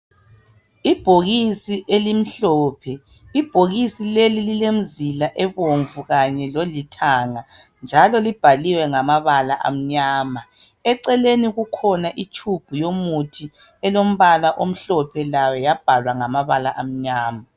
Ibhokisi elimhlophe, Ibhokisi leli lilemzila obomvu kanye lolithanga. Njalo libhaliwe ngamabala amnyama. Eceleni kukhona utshubhu yomuthi elombala omhlophe layo yabhalwa ngamabala amnyama.